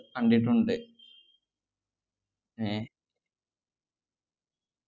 കണ്ടിട്ടുണ്ട് ഏർ